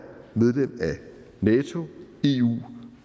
medlem af nato eu